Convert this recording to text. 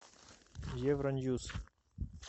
евроньюс